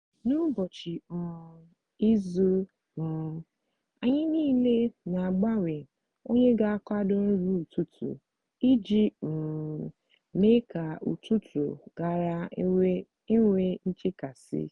n’ụbọchị um izu um anyị niile na-agbanwe onye ga akwado nri ụtụtụ iji um mee ka ụtụtụ ghara inwe nchekasị